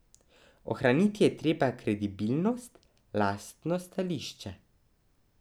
Ohraniti je treba kredibilnost, lastno stališče.